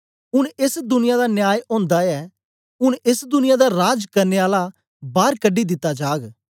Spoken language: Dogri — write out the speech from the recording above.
ऊन एस दुनिया दा न्याय ओंदा ऐ ऊन एस दुनिया दा राज करने आला बार कढी दित्ता जाग